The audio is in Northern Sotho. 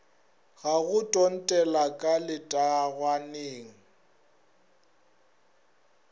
ga go tuntela ka letangwaneng